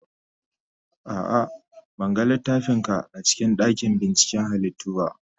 A'a, ban ga littafin ka a cikin dakin binciken halittu ba.